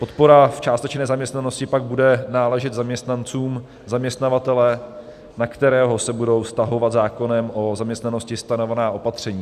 Podpora v částečné nezaměstnanosti pak bude náležet zaměstnancům zaměstnavatele, na kterého se budou vztahovat zákonem o zaměstnanosti stanovená opatření.